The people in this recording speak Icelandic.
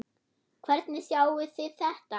Hvernig sjáið þið þetta?